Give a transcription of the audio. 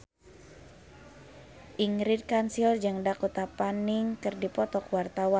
Ingrid Kansil jeung Dakota Fanning keur dipoto ku wartawan